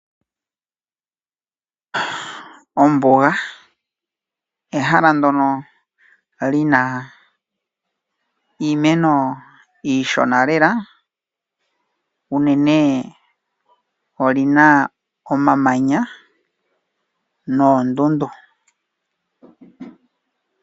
Ombuga ehala mono hamu adhika iimeno iishona lela. Mombuga ohamu adhika omamanya oshowo oondundu.